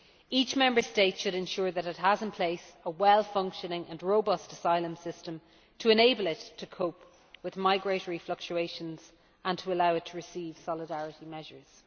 Each Member State should ensure that it has in place a well functioning and robust asylum system to enable it to cope with migratory fluctuations and to allow it to receive solidarity measures.